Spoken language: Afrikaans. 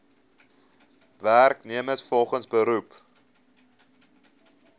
werknemers volgens beroep